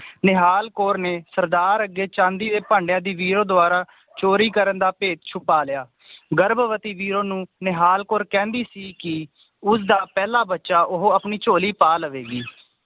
ਨਿਹਾਲ ਕੌਰ ਨੇ ਸਰਦਾਰ ਅੱਗੇ ਚਾਂਦੀ ਦੇ ਭਾਂਡਿਆਂ ਦੀ ਵੀਰੋ ਦਵਾਰਾ ਚੋਰੀ ਕਰਨ ਦਾ ਭੇਤ ਛੁਪਾ ਲਿਆ ਗਰਭਵਤੀ ਵੀਰੋ ਨੂੰ ਨਿਹਾਲ ਕੌਰ ਕਹਿੰਦੀ ਸੀ ਕਿ ਉਸ ਦਾ ਪਹਿਲਾਂ ਬੱਚਾ ਉਹ ਆਪਣੀ ਝੋਲੀ ਪਾ ਲਵੇਗੀ